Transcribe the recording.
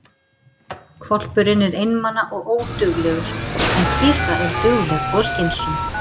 Hvolpurinn er einmana og óduglegur, en kisa er dugleg og skynsöm.